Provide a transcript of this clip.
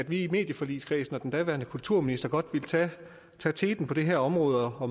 i medieforligskredsen og den daværende kulturminister godt ville tage teten på det her område og